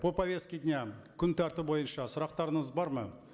по повестке дня күн тәртібі бойынша сұрақтарыңыз бар ма